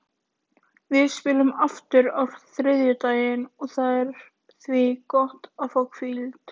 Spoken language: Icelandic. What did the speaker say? Við spilum aftur á þriðjudaginn og það er því gott að fá hvíld.